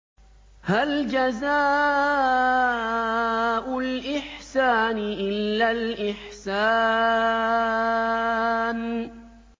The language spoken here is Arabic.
هَلْ جَزَاءُ الْإِحْسَانِ إِلَّا الْإِحْسَانُ